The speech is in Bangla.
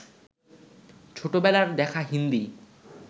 ছোটবেলার দেখা হিন্দি